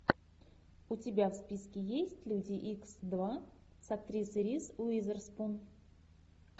у тебя в списке есть люди икс два с актрисой риз уизерспун